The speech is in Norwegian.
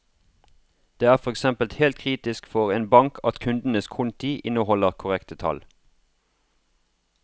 Det er for eksempel helt kritisk for en bank at kundenes konti inneholder korrekte tall.